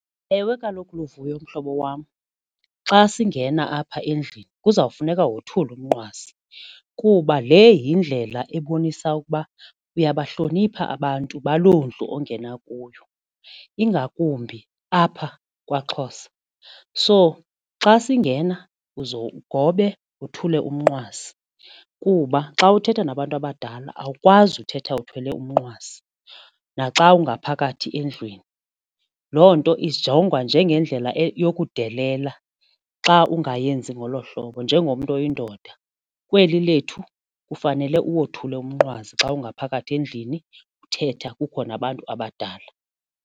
Ewe, kaloku Luvuyo mhlobo wam xa singena apha endlini kuzawufuneka wothule umnqwazi kuba le yindlela ebonisa ukuba uyabahlonipha abantu baloo ndlu ongena kuyo ingakumbi apha kwaXhosa. So xa singena uze ugobe uthule umnqwazi kuba xa uthetha nabantu abadala awukwazi uthetha uthwele umnqwazi naxa ungaphakathi endlwini loo nto ijongwa njengendlela yokudelela xa ungayenzi ngolo hlobo njengomntu oyindoda kweli lethu kufanele uwothula umnqwazi xa ungaphakathi endlini uthetha kukho nabantu abadala.